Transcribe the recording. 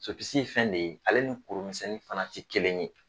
Sopisi ye fɛn de ye, ale ni kurumisɛnnin fana tɛ kelen ye.